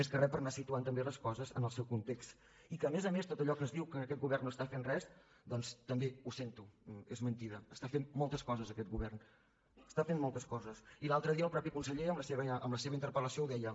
més que re per anar situant també les coses en el seu context i que a més a més tot allò que es diu que aquest govern no està fent res doncs també ho sento és mentida està fent moltes coses aquest govern està fent moltes coses i l’altre dia el mateix conseller en la seva interpel·lació ho deia